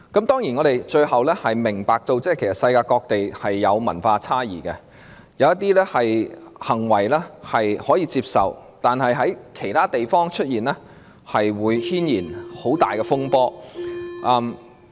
當然，我們明白世界各地有文化差異，一些行為在本地可以接受，但是在其他地方出現，會引起很大風波。